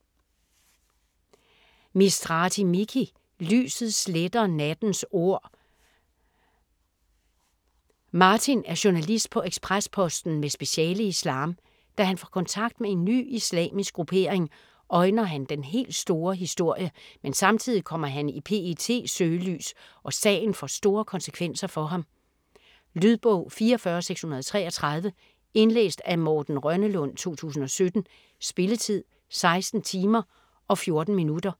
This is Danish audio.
Mistrati, Miki: Lyset sletter nattens ord Martin er journalist på Ekspres Posten med speciale i islam. Da han får kontakt med en ny islamisk gruppering, øjner han den helt store historie, men samtidig kommer han i PETs søgelys, og sagen får store konsekvenser for ham. Lydbog 44633 Indlæst af Morten Rønnelund, 2017. Spilletid: 16 timer, 14 minutter.